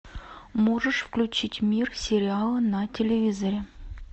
можешь включить мир сериала на телевизоре